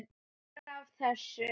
Meira af þessu!